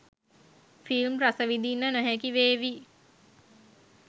Film රසවිදින්න නොහැකි වේවි.